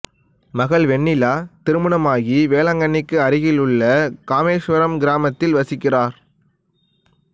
மகள் வெண்ணிலா திருமணமாகி வேளாங்கண்ணிக்கு அருகில் உள்ள காமேஸ்வரம் கிராமத்தில் வசிக்கிறார்